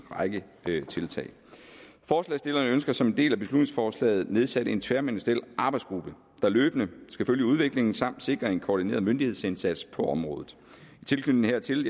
række tiltag forslagsstillerne ønsker som en del af beslutningsforslaget nedsat en tværministeriel arbejdsgruppe der løbende skal følge udviklingen samt sikre en koordineret myndighedsindsats på området i tilknytning hertil